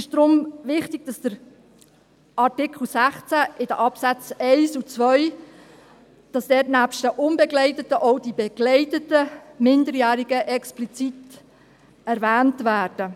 Es ist deshalb wichtig, dass im Artikel 16 in den Absätzen 1 und 2 nebst den unbegleiteten auch die begleiteten Minderjährigen explizit erwähnt werden.